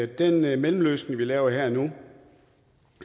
den mellemløsning som vi laver her og nu